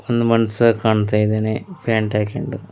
ಒಂದು ಮನುಷ್ಯ ಕಾಣ್ತಾ ಇದ್ದಾನೆ ಪ್ಯಾಂಟ್ ಹಾಕೊಂಡು--